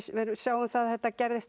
sjáum að þetta gerðist